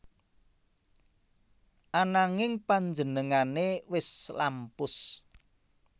Ananging panjenengané wis lampus